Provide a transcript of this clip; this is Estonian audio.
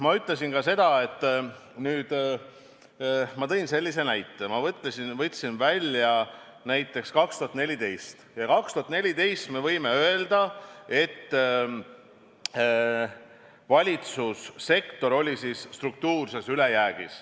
Ma ütlesin ka seda, tõin sellise näite, et aastatel 2014 ja 2015 oli valitsussektor struktuurses ülejäägis.